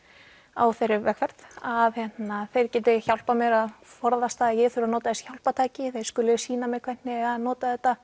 á þeirri vegferð að þeir geti hjálpað mér að forðast það að ég þurfi að nota þessi hjálpartæki þeir skuli sýna mér hvernig eigi að nota þetta